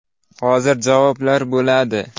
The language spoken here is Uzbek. Hozir javoblar bo‘ladi.